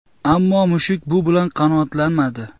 Ammo mushuk bu bilan qanoatlanmadi.